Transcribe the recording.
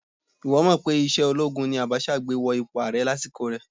Ìwọ́ mọ̀ pé ìṣe olóogun ni Abacha gbé wọ ipò ààrẹ lásìkò rẹ̀?